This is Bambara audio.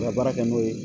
U ka baara kɛ n'o ye